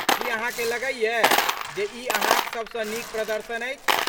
की अहाँ के लगैए जे ई अहाँक सबसँ नीक प्रदर्शन अछि?